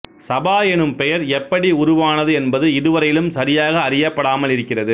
சபா எனும் பெயர் எப்படி உருவானது என்பது இதுவரையிலும் சரியாக அறியப்படாமல் இருக்கிறது